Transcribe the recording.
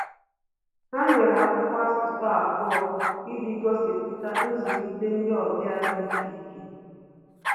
Ha nyere akwụkwọ asụsụ abụọ iji gosipụta nzulite ndị ọbịa dị iche iche